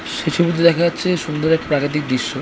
সেই ছবিতে দেখা যাচ্ছে সুন্দর এক প্রাকৃতিক দৃশ্য।